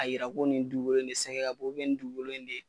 a yira ko nin dukolo in de sɛgɛ ka bon nin dukolo in de ye